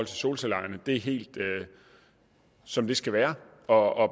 solcelleejerne er helt som det skal være og